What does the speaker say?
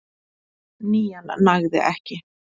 Nían nægði ekki